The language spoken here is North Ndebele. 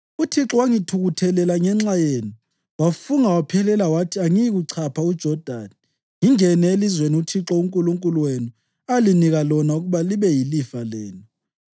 UThixo wangithukuthelela ngenxa yenu, wafunga waphelela wathi angiyikuchapha uJodani ngingene elizweni uThixo uNkulunkulu wenu alinika lona ukuba libe yilifa lenu.